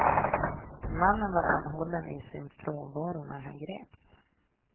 Mannen var anhållen i sin frånvaro när han greps.